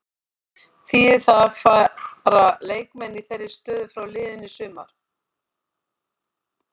Þýðir það að fara leikmenn í þeirri stöðu frá liðinu í sumar?